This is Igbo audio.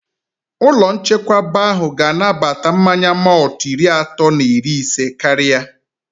Ụlọ nchekwaba ahụ ga anabata mmanya mọltụ iri atọ na iri isé karịa